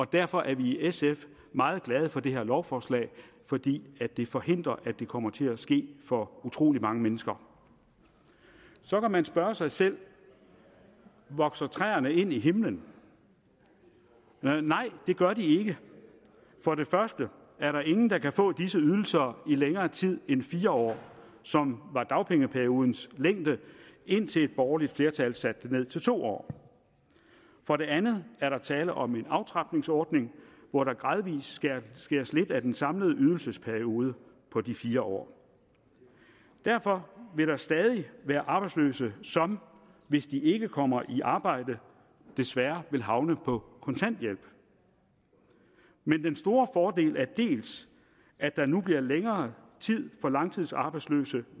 derfor er vi i sf meget glade for det her lovforslag fordi det forhindrer at det kommer til at ske for utrolig mange mennesker så kan man spørge sig selv vokser træerne ind i himlen nej det gør de ikke for det første er der ingen der kan få disse ydelser i længere tid end fire år som var dagpengeperiodens længde indtil et borgerligt flertal satte den ned til to år for det andet er der tale om en aftrapningsordning hvor der gradvis skæres lidt af den samlede ydelsesperiode på de fire år derfor vil der stadig være arbejdsløse som hvis de ikke kommer i arbejde desværre vil havne på kontanthjælp men den store fordel er at der nu bliver længere tid for langtidsarbejdsløse